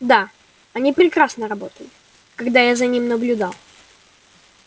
да они прекрасно работали когда я за ними наблюдал